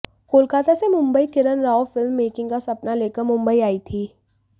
कोलकाता से Mumbai Kiran Rao film making का सपना लेकर मुंबई आयी थी